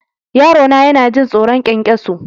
Yarona yana jin tsoron ƙwanƙwaso.